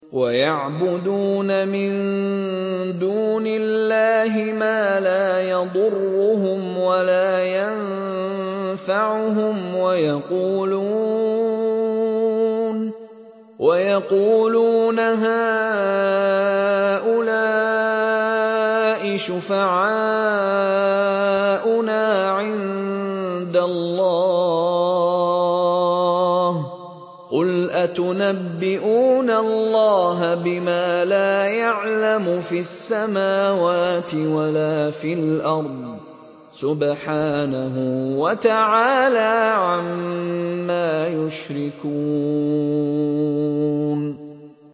وَيَعْبُدُونَ مِن دُونِ اللَّهِ مَا لَا يَضُرُّهُمْ وَلَا يَنفَعُهُمْ وَيَقُولُونَ هَٰؤُلَاءِ شُفَعَاؤُنَا عِندَ اللَّهِ ۚ قُلْ أَتُنَبِّئُونَ اللَّهَ بِمَا لَا يَعْلَمُ فِي السَّمَاوَاتِ وَلَا فِي الْأَرْضِ ۚ سُبْحَانَهُ وَتَعَالَىٰ عَمَّا يُشْرِكُونَ